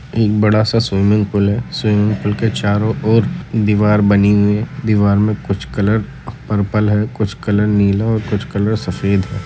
एक बड़ा सा स्विमिंग पूल है स्विमिंग पूल के चारो और दीवार बनी हुई है। दीवार में कुछ कलर पर्पल है कुछ कलर नीला और कुछ कलर सफ़ेद है।